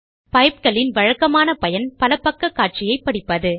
பைப்கள் இன் வழக்கமான பயன் பலபக்க காட்சியை படிப்பது